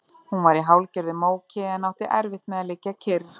Hún var í hálfgerðu móki en átti erfitt með að liggja kyrr.